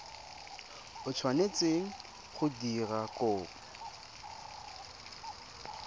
o tshwanetseng go dira kopo